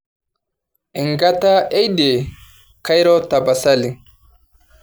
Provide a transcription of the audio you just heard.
enkata eidie kairo tapasali